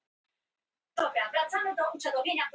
Ástvaldur